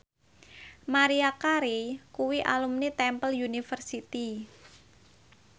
Maria Carey kuwi alumni Temple University